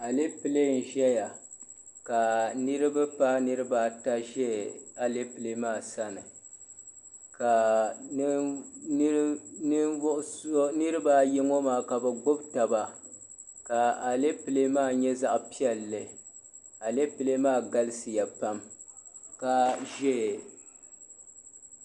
Alepile n-zaya ka niriba paai niriba ata za alepile maa sani ka niriba ayi ŋɔ maa ka bɛ gbibi taba ka alepile maa nyɛ zaɣ' piɛlli. Alepile maa galisiya pam.